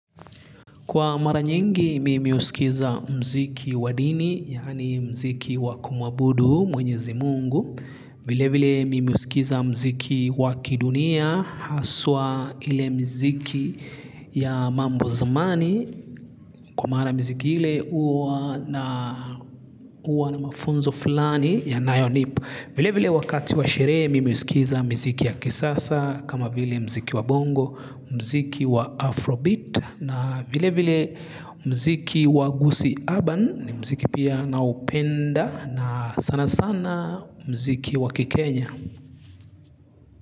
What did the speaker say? Kwa mara nyingi, mimi husikiza muziki wadini, yaani mziki wakumwabudu, mwenyezi mungu. Vile vile, mimihusikiza muziki wakidunia, haswa ile miziki ya mambo zamani. Kwa mara mziki ile, uwa na mafunzo fulani ya yanayonipa. Vile vile, wakati wa sherehe, mimihusikiza muziki ya kisasa, kama vile muziki wa bongo, muziki wa afrobeat. Na vile vile muziki wagusii urban ni muziki pia na upenda na sana sana muziki waki Kenya.